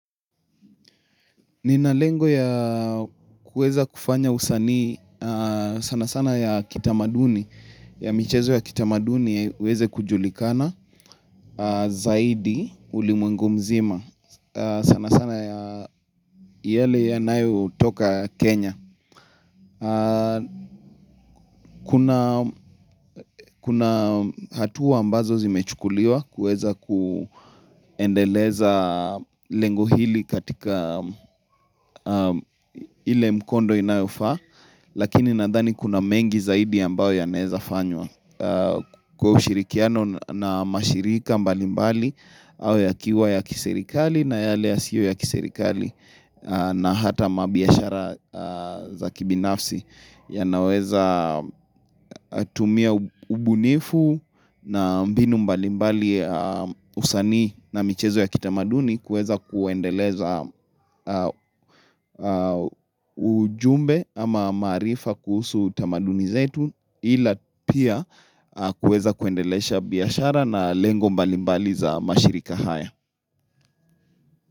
Nina lengo ya kueza kufanya usani sana sana ya kitamaduni, ya michezo ya kitamaduni ya uweze kujulikana zaidi ulimwengu mzima sana sana ya yale yanayo toka Kenya. Kuna hatuwa ambazo zimechukuliwa kuweza kuendeleza lengo hili katika ile mkondo inayofa Lakini nadhani kuna mengi zaidi ambayo yanezafanywa Kwa ushirikiano na mashirika mbalimbali au ya kiwa ya kiserikali na yale ya siyo ya kiserikali na hata mabiashara za kibinafsi yanaweza tumia ubunifu na mbinu mbalimbali usani na michezo ya kitamaduni kueza kuendeleza ujumbe ama marifa kuhusu utamaduni yetu ila pia kueza kuendelesha biashara na lengo mbalimbali za mashirika haya.